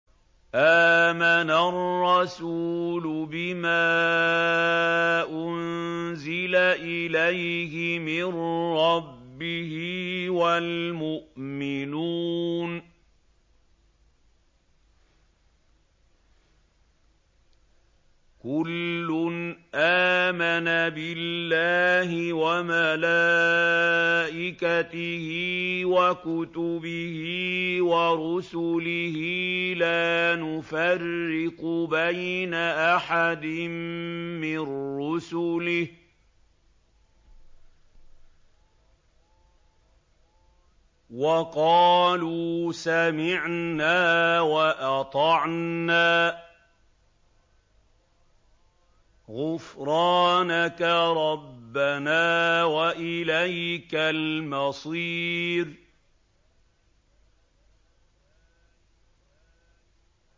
آمَنَ الرَّسُولُ بِمَا أُنزِلَ إِلَيْهِ مِن رَّبِّهِ وَالْمُؤْمِنُونَ ۚ كُلٌّ آمَنَ بِاللَّهِ وَمَلَائِكَتِهِ وَكُتُبِهِ وَرُسُلِهِ لَا نُفَرِّقُ بَيْنَ أَحَدٍ مِّن رُّسُلِهِ ۚ وَقَالُوا سَمِعْنَا وَأَطَعْنَا ۖ غُفْرَانَكَ رَبَّنَا وَإِلَيْكَ الْمَصِيرُ